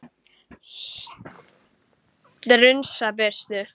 Strunsa burtu.